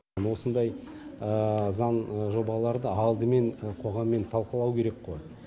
осындай заң жобаларды алдымен қоғаммен талқылау керек қой